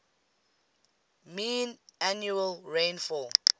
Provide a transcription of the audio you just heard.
mean annual rainfall